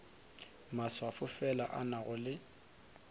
maswafo fela a nago le